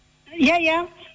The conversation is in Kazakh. иә иә